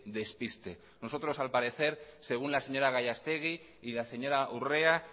despiste nosotros al parecer según la señora gallastegui y la señora urrea